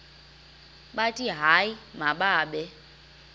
bathi hayi mababe